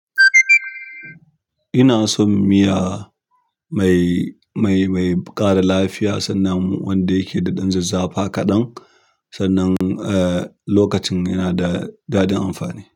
Ina son miya mai, mai, mai ƙara lafiya sannan wanda yake da ɗan zazzafa kaɗan, sannan eh lokacin yana da daɗin amfani.